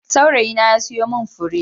Saurayina ya siyo min fure.